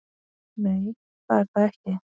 Nei, það er það ekki.